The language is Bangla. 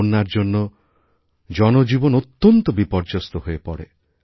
বন্যার জন্য জনজীবন অত্যন্ত বিপর্যস্ত হয়ে পড়ে